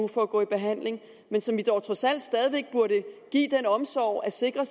for at gå i behandling men som vi dog trods alt stadig væk burde give den omsorg at sikre